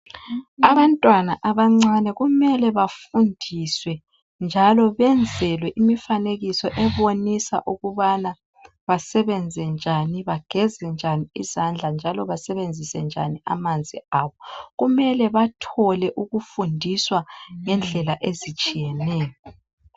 Abantwana abancane kumele bafundiswe njalo benzelwe imifanekiso ebonisa ukubana basebenze njani bagezenjani isandla njalo basebenzise njani amanzi. Kumele bathole ukufundiswa ngendlela ezitshiyeneyo.